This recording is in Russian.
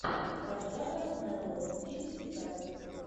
раджа госнелл фильм искать